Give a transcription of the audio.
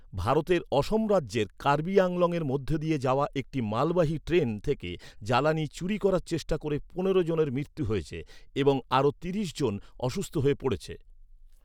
ভারতের অসম রাজ্যের কার্বি আংলংয়ের মধ্যে দিয়ে যাওয়া একটি মালবাহী ট্রেন থেকে জ্বালানি চুরি করার চেষ্টা করে পনেরো জনের মৃত্যু হয়েছে এবং আরও তিরিশ জন অসুস্থ হয়ে পড়েছে।